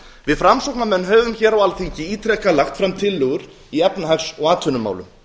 við framsóknarmenn höfum hér á alþingi ítrekað lagt fram tillögur í efnahags og atvinnumálum